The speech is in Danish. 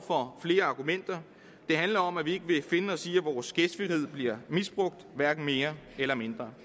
for flere argumenter det handler om at vi ikke vil finde os i at vores gæstfrihed bliver misbrugt hverken mere eller mindre